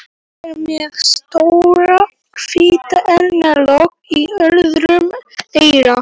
Hún er með stóran hvítan eyrnalokk í öðru eyra.